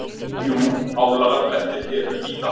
Jú, álagablettir eru víða.